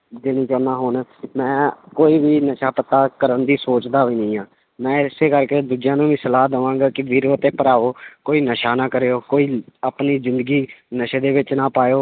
ਦੇਣੀ ਚਾਹੁਨਾ ਹੁਣ ਮੈਂ ਕੋਈ ਵੀ ਨਸ਼ਾ ਪੱਤਾ ਕਰਨ ਦੀ ਸੋਚਦਾ ਵੀ ਨੀ ਆਂ, ਮੈਂ ਇਸੇ ਕਰਕੇ ਦੂਜਿਆਂ ਨੂੰ ਵੀ ਸਲਾਹ ਦੇਵਾਂਗਾ ਕਿ ਵੀਰੋ ਅਤੇ ਭਰਾਵੋ ਕੋਈ ਨਸ਼ਾ ਨਾ ਕਰਿਓ ਕੋਈ ਆਪਣੀ ਜ਼ਿੰਦਗੀ ਨਸ਼ੇ ਦੇ ਵਿੱਚ ਨਾ ਪਾਇਓ।